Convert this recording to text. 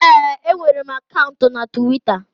Ee, enwere m akaụntụ na Tiwita